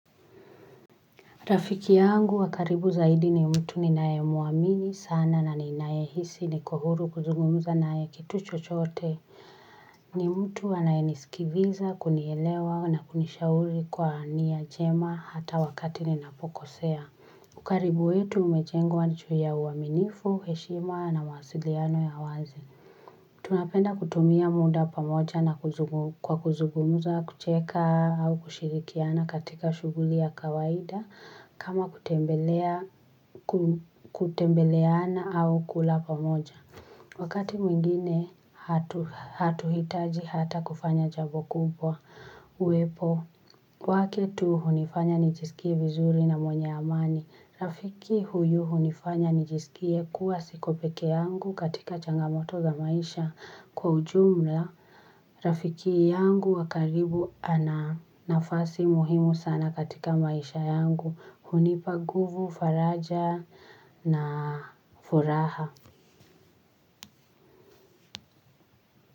Rafiki yangu wa karibu zaidi ni mtu ninaye muamini sana na ninaye hisi niko huru kuzugumuza nae kitu chochote ni mtu anaye nisikiliza kunielewa na kunishauri kwa nia njema hata wakati ninapokosea ukaribu wetu umejengwa juu ya uaminifu heshima na mawasiliano ya wazi tunapenda kutumia muda pamoja na kuzungu kwa kuzungumuza kucheka au kushirikiana katika shughuli ya kawaida kama kutembea ku kutembeleana au kula pamoja. Wakati mwingine hatu hatuhitaji hata kufanya jabo kubwa uepo. Wake tu hunifanya nijisikie vizuri na mwenye amani. Rafiki huyu hunifanya nijiskie kuwa siko pekee yangu katika changamoto za maisha kwa ujumla rafiki yangu wankaribu ana nafasi muhimu sana katika maisha yangu. Hunipa guvu, faraja na furaha.